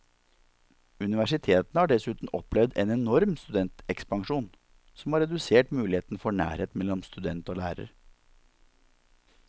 Universitetene har dessuten opplevd en enorm studentekspansjon, som har redusert muligheten for nærhet mellom student og lærer.